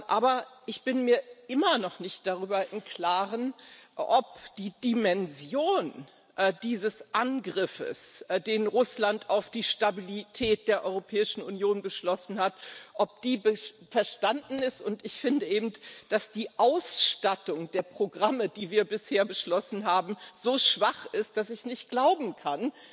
Aber ich bin mir immer noch nicht darüber im Klaren, ob die Dimension dieses Angriffs, den Russland auf die Stabilität der Europäischen Union beschlossen hat, verstanden ist, und ich finde eben, dass die Ausstattung der Programme, die wir bisher beschlossen haben, so schwach ist, dass ich nicht glauben kann,